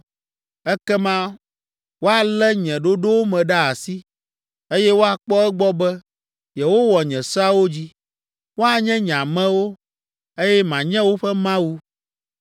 Ekema woalé nye ɖoɖowo me ɖe asi, eye woakpɔ egbɔ be, yewowɔ nye seawo dzi. Woanye nye amewo, eye manye woƒe Mawu.